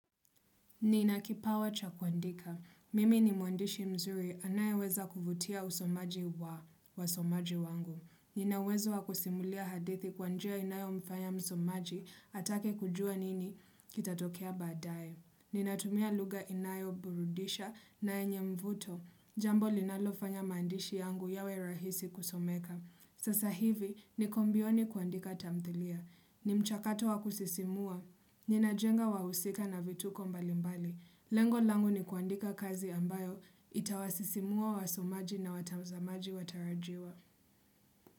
Nina kipawa cha kuandika. Mimi ni mwandishi mzuri anayeweza kuvutia usomaji wa wasomaji wangu. Nina uwezo wa kusimulia hadithi kwa njia inayomfanya msomaji atake kujua nini kitatokea baadaye. Ninatumia lugha inayoburudisha na yenye mvuto. Jambo linalofanya maandishi yangu yawe rahisi kusomeka. Sasa hivi niko mbioni kuandika tamthilia. Ni mchakato wa kusisimua, ninajenga wahusika na vituko mbali mbali. Lengo langu ni kuandika kazi ambayo itawasisimua wasomaji na watamzamaji watarajiwa.